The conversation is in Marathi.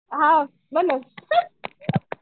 हां